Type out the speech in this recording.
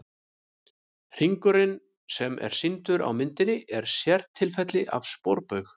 Hringurinn sem er sýndur á myndinni er sértilfelli af sporbaug.